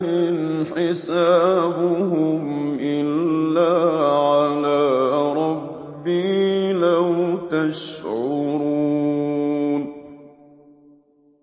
إِنْ حِسَابُهُمْ إِلَّا عَلَىٰ رَبِّي ۖ لَوْ تَشْعُرُونَ